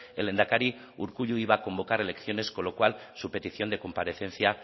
el lehendakari urkullu iba a convocar elecciones con lo cual su petición de comparecencia